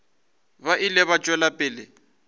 ba ile ba tšwela pele